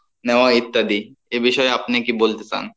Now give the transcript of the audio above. নেওয়া ইত্যাদি এ বিষয়ে আপনি কী বলতে চান?